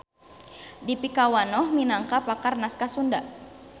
Dipikawanoh minangka pakar naskah Sunda.